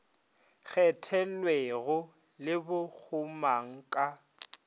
kgethelwego le bo gomang ka